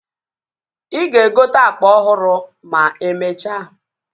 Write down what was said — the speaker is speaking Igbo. Ị ga-egote akpa ọhụrụ ma emechaa